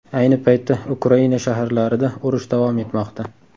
Ayni paytda Ukraina shaharlarida urush davom etmoqda.